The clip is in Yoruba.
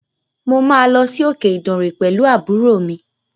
Mo máa lọ sí okè Ìdànre pẹ̀lú àbúrò mi.